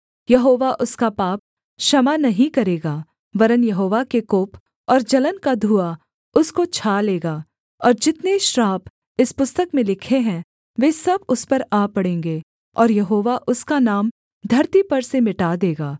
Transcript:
यहोवा उसका पाप क्षमा नहीं करेगा वरन् यहोवा के कोप और जलन का धुआँ उसको छा लेगा और जितने श्राप इस पुस्तक में लिखे हैं वे सब उस पर आ पड़ेंगे और यहोवा उसका नाम धरती पर से मिटा देगा